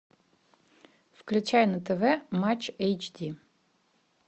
включай на тв матч эйч ди